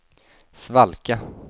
svalka